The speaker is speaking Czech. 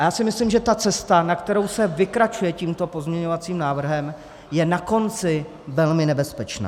A já si myslím, že ta cesta, na kterou se vykračuje tímto pozměňovacím návrhem, je na konci velmi nebezpečná.